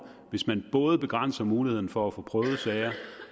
hvis man både begrænser muligheden for at få prøvet sager